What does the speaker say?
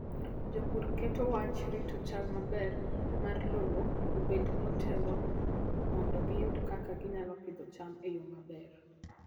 Jopur keto wach rito chal maber mar lowo obed motelo mondo giyud kaka ginyalo pidho cham e yo maber.